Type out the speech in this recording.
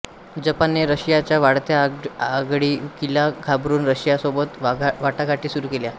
जपानने रशियाच्या वाढत्या आगळीकीला घाबरून रशियासोबत वाटाघाटी सुरू केल्या